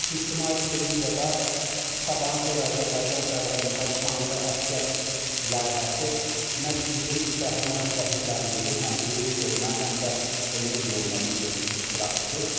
Təbii ki, İctimai televiziyada "Sabahın xeyir Azərbaycan" proqramında "Şanlı əsgər" layihəsi məhz bizim qəhrəman şəhidlərimizin həm döyüş yoluna, həm də ömür yoluna bir çıraq tutur.